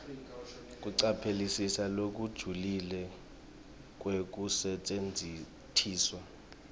kucaphelisisa lokujulile kwekusetjentiswa